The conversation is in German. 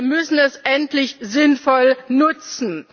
Wir müssen das endlich sinnvoll nutzen!